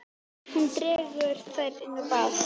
Hún dregur þær inn á bað.